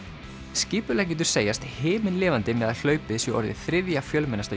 skipuleggjendur segjast himinlifandi með að hlaupið sé orðið þriðja fjölmennasta